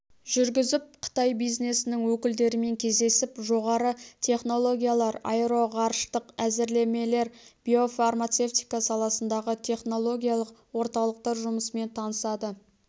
жүргізіп қытай бизнесінің өкілдерімен кездесіп жоғары технологиялар аэроғарыштық әзірлемелер биофармацевтика саласындағы технологиялық орталықтар жұмысымен танысады